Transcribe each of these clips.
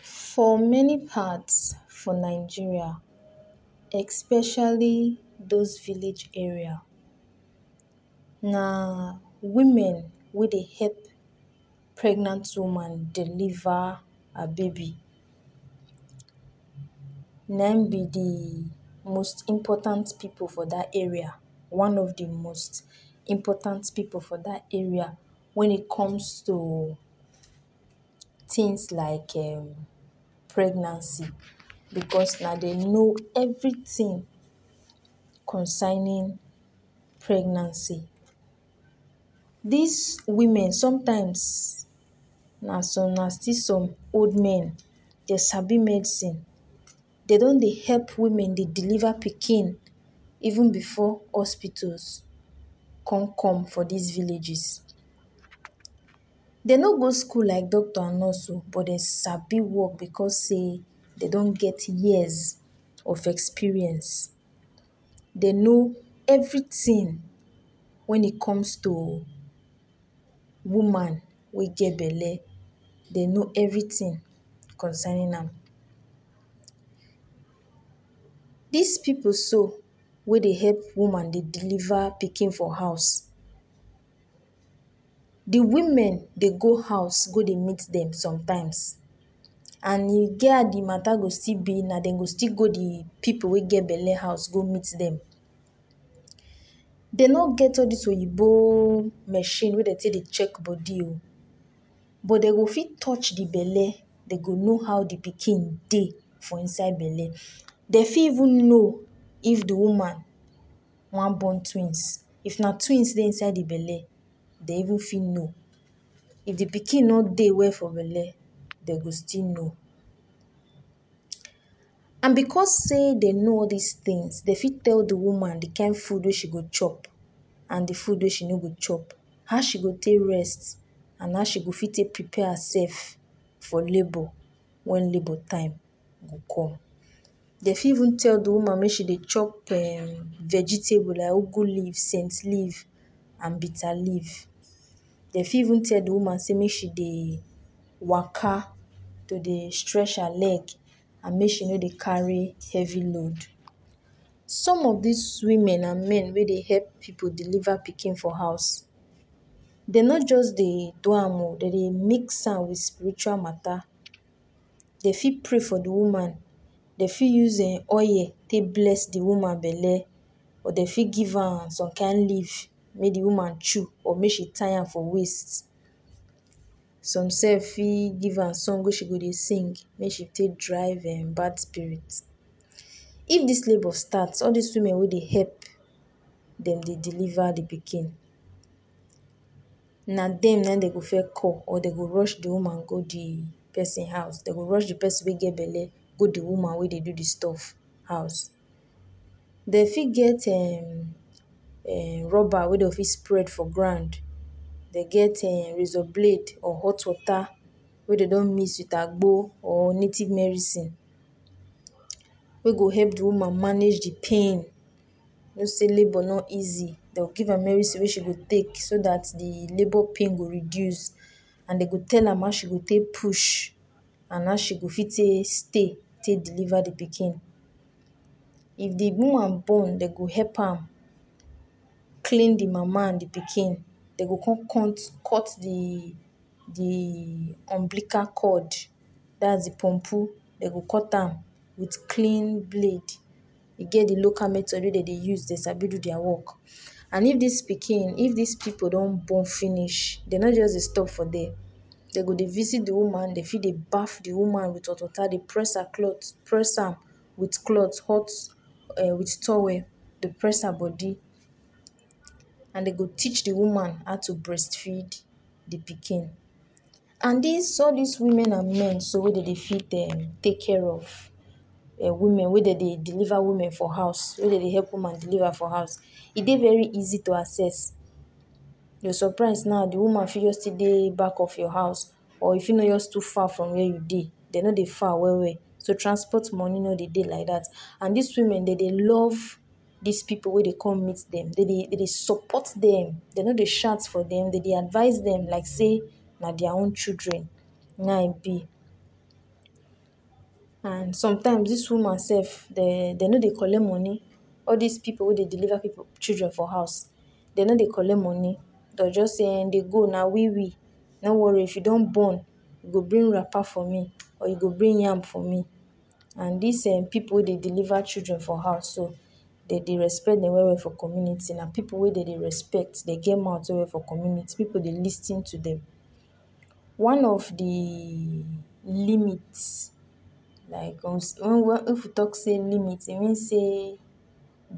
For many parts for Nigeria especially those village area na women wey dey help pregnant woman deliver her baby. Na im be de most important pipu for dat area, one de most important pipu for dat area wen it comes to things like um pregnancy because na dem know everything concerning pregnancy. Dis women, sometimes na some na still some old men, dey sabi medicine. Dey don dey help women dey deliver pikin even before hospitals con come for dis villages. Dey no go school like doctor and nurse oo but dem sabi work because sey dey don get years of experience. Dey know everything wen it comes to woman wey get belle, dey know everything concerning am. Dis pipu so wey dey help woman dey deliver pikin for house, de women dey go house go dey meet dem sometimes and e get how de matter go still be na dem go still go de pipu wey get de belle house go meet dem. Dem no get all dis oyibo machine wey dem take dey check body oo but dem go fit touch de belle, dem go know how de pikin dey for inside belle. Dem fit even know if de woman wan born twins; if na twins dey inside de belle, dey even fit know. If de pikin no dey well for de belle, dey go still know. And because sey dem know all dis things, dey fit tell de woman de kain food wey she go chop and de food wey she no go chop, how she go take rest and how she go fit prepare herself for labour wen labour time go come. Dey fit even tell de woman make she dey chop um vegetable like leaf, scent leaf and bitter leaf. De fit even tell de woman sey make she dey waka, to dey stretch her leg and make she no dey carry heavy load. Some of dis women and men wey dey help pipu deliver pikin for house. Dey no just dey do am oo; dey dey mix am wit spiritual matter; dey fit pray for de woman, dey fit use oil take bless de woman belle or dey fit give am some kain leaf make de woman chew or make she tie am for waist. Some sef fit give am song wey she go dey sing, make she take drive um bad spirit. If dis labour start, all dis women wey dey help dem dey deliver de pikin, na dem na im dey go first call or dey go rush de woman go de person house. Dey go rush de person wey get belle go de woman wey dey do de stuff house. Dey fit get um um rubber wey dey fit spread for ground, dey get um razor blade or hot water wey dem don mix wit agbo or native mericine wey go help de woman manage de pain. You know sey labour no easy. Dem go give am mericine wey she go take so dat de labour pain go reduce and dem go tell am how she go take push and how she go fit take stay take deliver de pikin. If de woman born, dey go help am clean de mama and de pikin. Dey go come cut de de umbilical cord dats de pumpu dem go cut am wit clean blade. E get de local method wey dem dey use dey sabi do their work. And if dis pikin, if dis pipu don born finish, dey no just dey stop for there. Dey go dey visit de woman, dey fit dey baff de woman wit hot water, dey press her cloth, press am wit cloth, hot um wit towel, dey press her body and dem go teach de woman how to breastfeed de pikin. And dis, all dis women and men so wey dey dey fit um take care of women, wey dey dey deliver women for house, wey dey dey help women deliver for house, e dey very easy to access. You go surprise now de woman fit still dey back of your house or e fit no too far from where you dey. Dey no dey far well well so transport money no dey dey like dat and dis women dey dey love dis pipu wey dey come meet dem. Dem dey dem dey support dem, dey no dey shout for dem, dey dey advice dem like sey na their own children na im e be. And sometimes, dis woman sef dey, dey no dey collect money. All dis pipu wey dey deliver pipu children for house, dey no dey collect money. Dem go just say, “dey go na we we, no worry she don born, you go bring wrapper for me” or “you go bring yam for me”. And dis um pipu wey dey deliver children for house so, dey dey respect dem well well for community. Na pipu wey dey dey respect, dey get mouth well well for community, pipu dey lis ten to dem. One of de limit like if we talk sey limit, e mean sey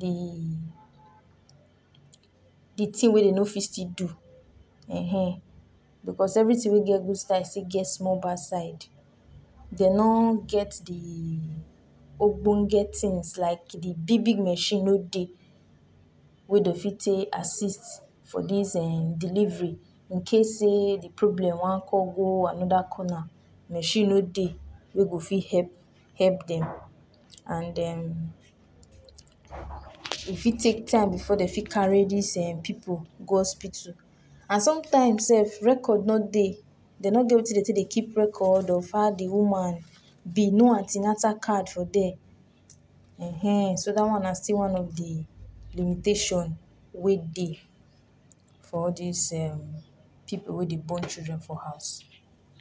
de de thing wey dey no fit still do,[um]ehn because everything wey get good side still get small bad side. Dey no get de ogbonge things like de big big machine no dey wey dey fit take assist for dis um delivery in case sey de problem wan come go another corner; machine no dey wey go fit help help dem and um e fit take time before dey fit carry dis um pipu go hospital. And sometimes sef record no dey, dey no get wetin dey take dey keep record of how de woman be; no an ten atal card for there.[um]ehn so dat one na still one of de limitation wey dey for all dis um pipu wey dey born children for house.